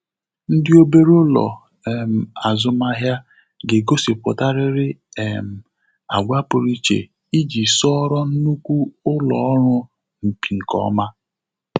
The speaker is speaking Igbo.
Ndị obere ụlọ um azụmahịa ga-egosiputarịrị um àgwà pụrụ iche iji soro nnukwu ụlọ ọrụ mpi nke ọma.